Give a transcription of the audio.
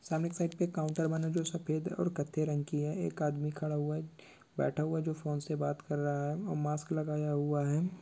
सामने की साइड पे एक काउंटर बना हुआ जो सफेद और कत्थई रंग की है एक आदमी खरा हुआ- बैठा हुआ है फ़ोन से बात कर रहा है और मास्क लगया हुआ है।